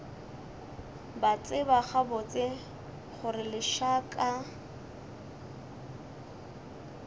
ba tseba gabotse gore lešaka